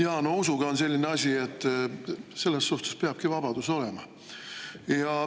Jaa, no usuga on selline asi, et selles suhtes peabki vabadus olema.